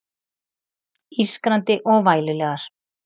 Ískrandi og vælulegar.